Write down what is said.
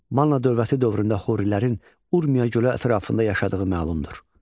Manna dövləti dövründə Hurilərin Urmiya gölü ətrafında yaşadığı məlumdur.